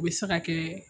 U bɛ se ka kɛ